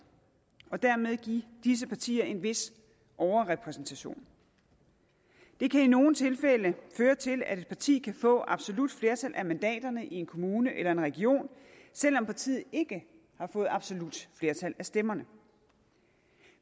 og dermed give disse partier en vis overrepræsentation det kan i nogle tilfælde føre til at et parti kan få absolut flertal af mandaterne i en kommune eller en region selv om partiet ikke har fået absolut flertal af stemmerne